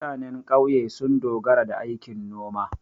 Mutane ƙauye sun dogara da aikin noma.